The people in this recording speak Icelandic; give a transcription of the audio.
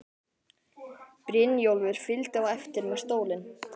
Brynjólfur fylgdi á eftir með stólinn.